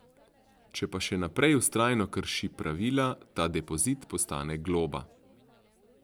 Če pa še naprej vztrajno krši pravila, ta depozit postane globa.